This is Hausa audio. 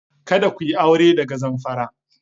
Kada ku yi aure daga Zamfara!